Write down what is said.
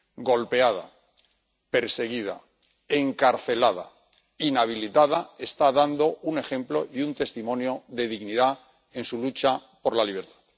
Golpeada, perseguida, encarcelada, inhabilitada está dando un ejemplo y un testimonio de dignidad en su lucha por la libertad.